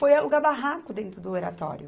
Foi alugar barraco dentro do Oratório.